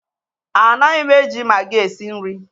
Anaghị m eji maggi esi nri.